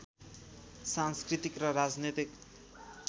सांस्कृतिक र राजनीतिक